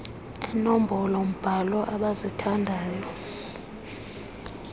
eenombolo mbhalo abazithandayo